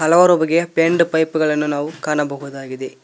ಹಲವಾರು ಬಗೆಯ bend pipe ಗಳನ್ನು ನಾವು ಕಾಣಬಹುದಾಗಿದೆ.